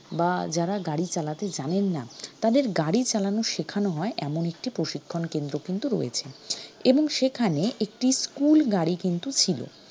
বা যারা গাড়ি চালাতে জানেন না তাদের গাড়ি চালানো শেখানো হয় এমন একটি প্রশিক্ষণকেন্দ্র কিন্তু রয়েছে এবং সেখানে একটি school গাড়ি কিন্তু ছিল